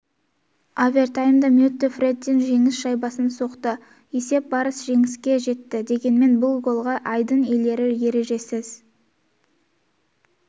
овертаймда мэттью фрэттин жеңіс шайбасын соқты есеп барыс жеңіске жетті дегенмен бұл голға айдын иелері ережесіз